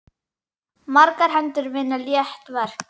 Margar hendur vinna létt verk.